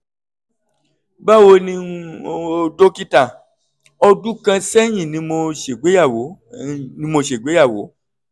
báwo ni um o dókítà? ọdún kan sẹ́yìn ni mo ṣègbéyàwó ni mo ṣègbéyàwó